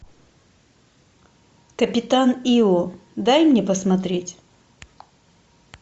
капитан ио дай мне посмотреть